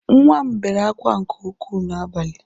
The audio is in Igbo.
Nwa m bere akwa nke ukwu n’abalị